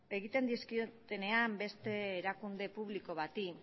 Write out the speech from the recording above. egiten dizkiotenean beste erakunde publiko bati